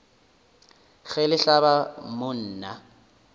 ge le hlaba mo nna